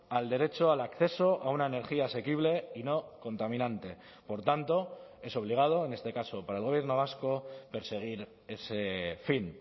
al derecho al acceso a una energía asequible y no contaminante por tanto es obligado en este caso para el gobierno vasco perseguir ese fin